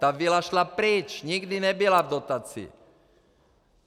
Ta vila šla pryč, nikdy nebyla v dotaci.